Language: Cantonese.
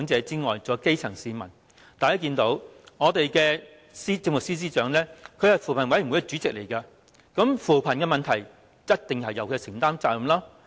大家也看到，我們的政務司司長是扶貧委員會主席，關於扶貧的問題，必定應由司長承擔責任。